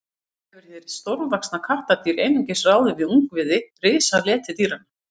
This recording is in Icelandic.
sjálfsagt hefur hið stórvaxna kattardýr einungis ráðið við ungviði risaletidýranna